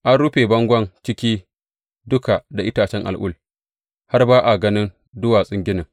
An rufe bangon ciki duka da itacen al’ul, har ba a ganin duwatsun ginin.